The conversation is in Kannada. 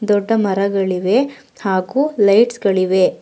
ದೊಡ್ಡ ಮರಗಳಿವೆ ಹಾಗು ಲೈಟ್ಸ್ ಗಳಿವೆ.